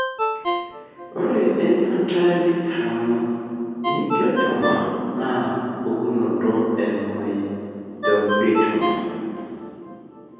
ore infantile hemangiopericytoma na pukunoto e myopericytoma,